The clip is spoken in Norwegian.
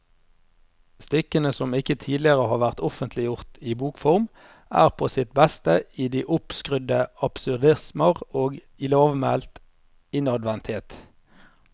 Stykkene, som ikke tidligere har vært offentliggjort i bokform, er på sitt beste i de oppskrudde absurdismer og i lavmælt innadvendthet.